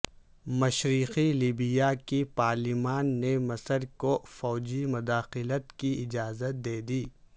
مشرقی لیبیا کی پارلیمان نے مصر کو فوجی مداخلت کی اجازت دے دی